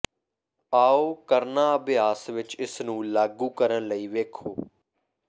ਆਓ ਕਰਨਾ ਅਭਿਆਸ ਵਿੱਚ ਇਸ ਨੂੰ ਲਾਗੂ ਕਰਨ ਲਈ ਵੇਖੋ